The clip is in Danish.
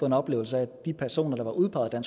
en oplevelse af at de personer der var udpeget af